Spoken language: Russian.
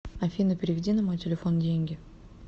афина переведи на мой телефон деньги